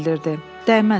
Dəyməz, rahat ol.